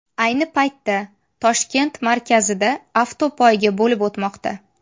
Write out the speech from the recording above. Ayni paytda Toshkent markazida avtopoyga bo‘lib o‘tmoqda.